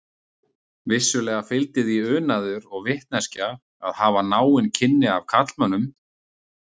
Vissulega fylgdi því unaður og vitneskja að hafa náin kynni af karlmönnum.